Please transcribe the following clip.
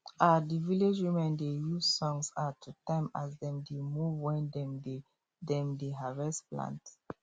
um the village women dey use songs um to time as dem dey move when dem dey dem dey harvest plant